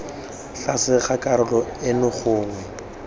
tlase ga karolo eno gongwe